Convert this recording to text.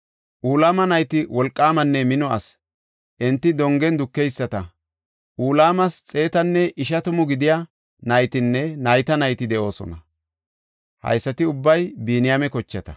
Ulama nayti wolqaamanne mino asi; enti dongen dukeyisata. Ulamas xeetanne ishatamu gidiya naytinne nayta nayti de7oosona. Haysati ubbay Biniyaame kochata.